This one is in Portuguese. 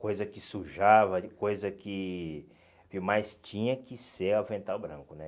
Coisa que sujava, coisa que... Mas tinha que ser o avental branco, né?